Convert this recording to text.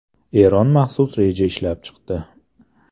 Eron maxsus reja ishlab chiqdi.